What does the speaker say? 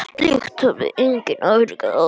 Slíkt hafði enginn afrekað áður.